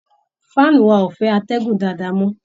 Fan wa ò fẹ́ atẹ́gùn dádáa mọ́